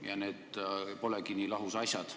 Ja need polegi nii lahus asjad.